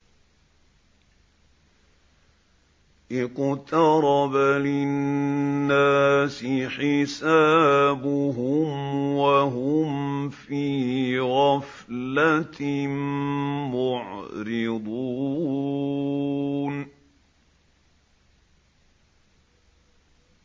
اقْتَرَبَ لِلنَّاسِ حِسَابُهُمْ وَهُمْ فِي غَفْلَةٍ مُّعْرِضُونَ